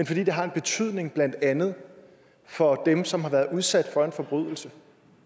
fordi det har en betydning blandt andet for dem som har været udsat for en forbrydelse